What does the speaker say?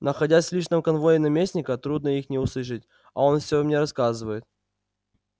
находясь в личном конвое наместника трудно их не услышать а он всё мне рассказывает